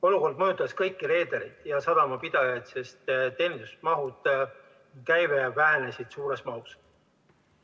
Olukord mõjutas kõiki reedereid ja sadamapidajaid, sest teenindusmahud ja käive vähenesid suures mahus.